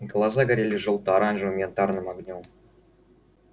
глаза горели жёлто-оранжевым янтарным огнём